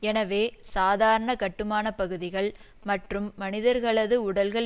எனவே சாதாரண கட்டுமானப்பகுதிகள் மற்றும் மனிதர்களது உடல்கள்